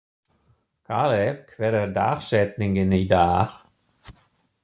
Kaleb, hver er dagsetningin í dag?